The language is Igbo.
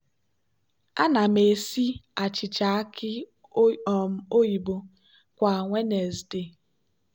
ana m esi achịcha aki um oyibo kwa wednesde.